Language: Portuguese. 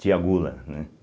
Tia Gula, né?